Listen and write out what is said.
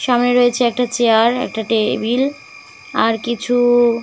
সামনে রয়েছে একটা চেয়ার একটা টেবিল আর কিছু --।